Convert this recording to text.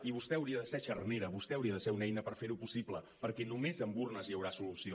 i vostè hauria de ser xarnera vostè hauria de ser una eina per fer ho possible perquè només amb urnes hi haurà solució